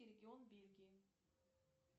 регион бельгии